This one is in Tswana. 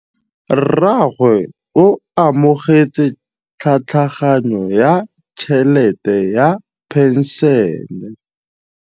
Rragwe o amogetse tlhatlhaganyô ya tšhelête ya phenšene.